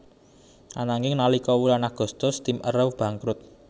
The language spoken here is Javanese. Ananging nalika wulan Agustus tim Arrows bangkrut